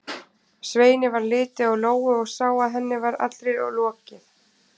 Sveini varð litið á Lóu og sá að henni var allri lokið.